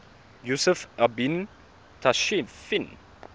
yusuf ibn tashfin